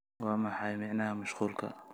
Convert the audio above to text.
waa maxay macnaha mashquulka